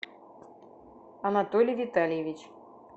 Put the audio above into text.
анатолий витальевич